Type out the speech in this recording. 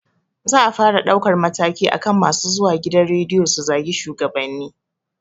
Za a fara ɗaukar mataki akan masu zuwa gidan rediyo su zagi shugabanni